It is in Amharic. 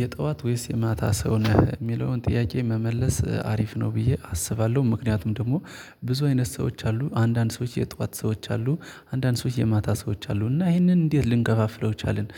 የጧት ወይስ የማታ ሰው ነህ? የሚለውን ጥያቄ መመለስ አሪፍ ነው ብዬ አስባለሁ ምክንያቱም ደግሞ ብዙ አይነት ሰዎች አሉ አንዳንድ ሰዎች የጧት ሰዎች አሉ፤ አንዳንድ ሰዎች የማታ ሰዎች አሉ፤ እና ይሄንን እንዴት ልንከፋፍለው ቻልን